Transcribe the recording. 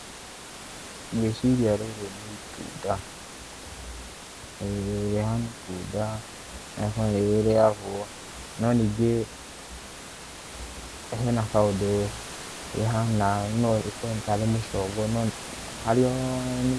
Ngwĩciria rĩrĩ nĩ itunda, rĩhana itunda nĩ rĩrĩagwo no ningĩ, hena kaũndũ rĩhana no ĩkorwo nĩ tarĩ mũcongo no harĩ o